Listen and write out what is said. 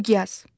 Miqyas.